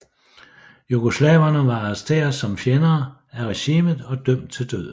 Jugoslaverne var arresteret som fjender af regimet og dømt til døden